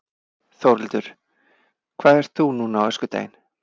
Þórhildur: Hvað ert þú núna á öskudaginn?